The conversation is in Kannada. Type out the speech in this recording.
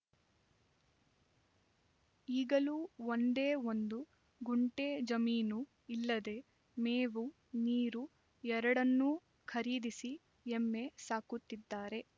ಈಗಲೂ ಒಂದೇ ಒಂದು ಗುಂಟೆ ಜಮೀನು ಇಲ್ಲದೆ ಮೇವು ನೀರು ಎರಡನ್ನೂ ಖರೀದಿಸಿ ಎಮ್ಮೆ ಸಾಕುತ್ತಿದ್ದಾರೆ